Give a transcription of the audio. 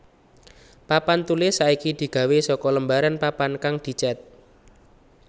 Papan tulis saiki digawé saka lembaran papan kang dicet